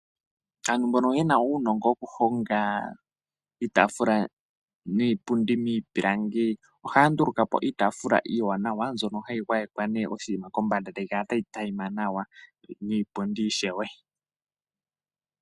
Aantu mbono yena uunongo woku honga iitafula niipundi miipilangi, ohaanduluka po iitafula iiwanawa ndjono hayi gwayekwa oshiima kombanda etayi kala ta yi tayima.